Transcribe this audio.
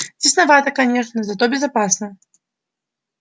тесновато конечно зато безопасно